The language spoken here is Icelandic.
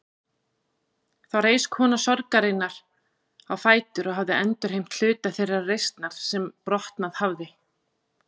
Þá reis kona sorgarinnar á fætur og hafði endurheimt hluta þeirrar reisnar sem brotnað hafði.